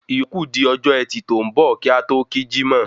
Ìyókù di ọjọ ẹtì tó ń bọ̀ kí a tó kí jímọ̀